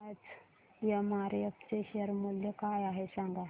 आज एमआरएफ चे शेअर मूल्य काय आहे सांगा